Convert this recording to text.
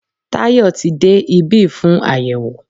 Tayọ tí de ibi fún ayẹwo